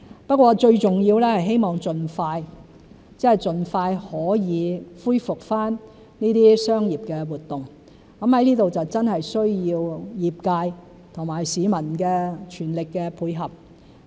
不過最重要的是希望盡快可以恢復這些商業活動，在這方面需要業界和市民的全力配合。